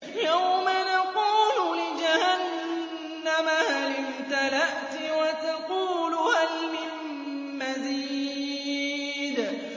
يَوْمَ نَقُولُ لِجَهَنَّمَ هَلِ امْتَلَأْتِ وَتَقُولُ هَلْ مِن مَّزِيدٍ